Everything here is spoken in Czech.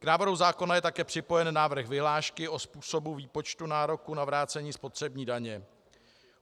K návrhu zákona je také připojen návrh vyhlášky o způsobu výpočtu nároku na vrácení spotřební daně.